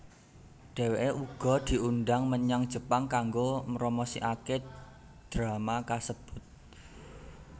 Dheweké uga diundhang menyang Jepang kanggo mromosikaké drama kasebut